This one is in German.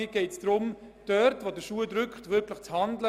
Mir geht es darum, dort, wo der Schuh drückt, rasch zu handeln.